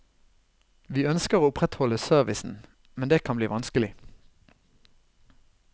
Vi ønsker å opprettholde servicen, men det kan bli vanskelig.